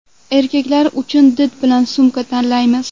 Erkaklar uchun did bilan sumka tanlaymiz.